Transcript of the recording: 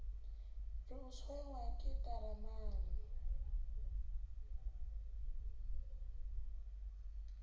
re o tshwenngwa ke ntaramane